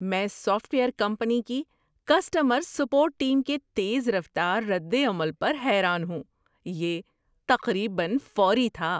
میں software company کی customer support team کے تیز رفتار ردعمل پر حیران ہوں۔ یہ تقریبا فوری تھا!